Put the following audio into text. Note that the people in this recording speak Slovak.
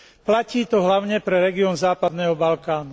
Platí to hlavne pre región západného Balkánu.